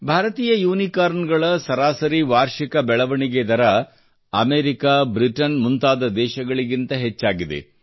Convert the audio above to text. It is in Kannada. ಭಾರತೀಯ ಯುನಿಕಾರ್ನ್ ಗಳ ಸರಾಸರಿ ವಾರ್ಷಿಕ ಬೆಳವಣಿಗೆ ದರ ಅಮೇರಿಕ ಬ್ರಿಟನ್ ಮುಂತಾದ ದೇಶಗಳಿಗಿಂತ ಹೆಚ್ಚಾಗಿದೆ